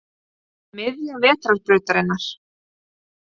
Miðja vetrarbrautarinnar.